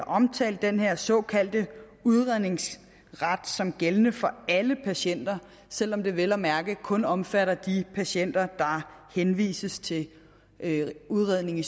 omtalt den her såkaldte udredningsret som gældende for alle patienter selv om den vel at mærke kun omfatter de patienter der henvises til udredning i